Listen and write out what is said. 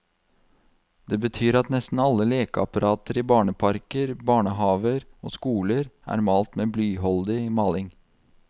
Det betyr at nesten alle lekeapparater i barneparker, barnehaver og skoler er malt med blyholdig maling.